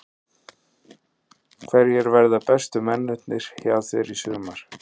Hverjir verða bestu mennirnir hjá þér í sumar?